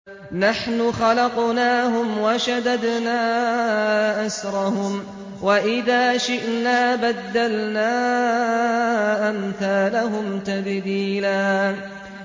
نَّحْنُ خَلَقْنَاهُمْ وَشَدَدْنَا أَسْرَهُمْ ۖ وَإِذَا شِئْنَا بَدَّلْنَا أَمْثَالَهُمْ تَبْدِيلًا